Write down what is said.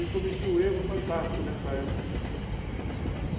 Eu cometi um erro fantástico nessa época, hum.